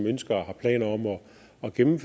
og en